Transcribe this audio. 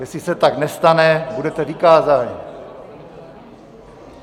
Jestli se tak nestane, budete vykázáni.